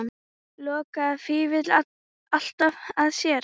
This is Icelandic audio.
Lokaði Vífill alltaf að sér?